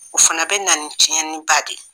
O fana bɛ na tiɲɛni ba de ye.